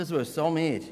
Das wissen auch wir.